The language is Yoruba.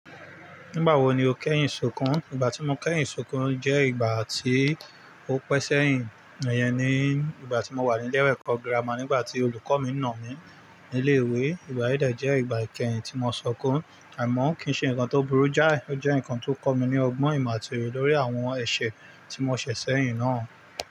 Nígbà wo ni o kẹ́yìn sukun? Ìgbà tí mo kẹ́yìn sunkun jẹ́ ìgbà tí ó pẹ́ sẹ́yìn, iyen nii, ìgbà tí mo wà ní ilé ẹ̀kọ́ gírámà nígbà tí olùkọ́ mi nà mí nílé ìwé. Ìgbà yí de jẹ ìgbà ìkẹ́yìn tí mo sọkún, àmọ́ kín ṣe ǹkan tó burú jáì, ó jẹ́ ǹkan tó kọ́ mi ní ọgbọ́n ìmọ̀ àti oye lórí àwọn ẹ̀ṣẹ̀ tí mo ṣẹ̀ sẹ́yìn náà.